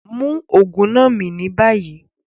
Mú oogun náà mí ní bayí!